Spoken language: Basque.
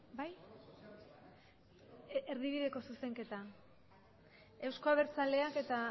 bai erdibideko zuzenketa euzko abertzaleak eta